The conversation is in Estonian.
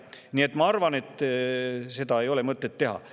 Nii et ma arvan, et seda ei ole mõtet teha.